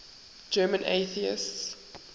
german atheists